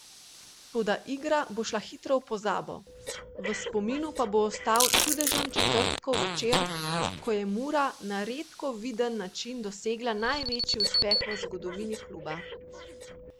Toda igra bo šla hitro v pozabo, v spominu pa bo ostal čudežen četrtkov večer, ko je Mura na redko viden način dosegla največji uspeh v zgodovini kluba.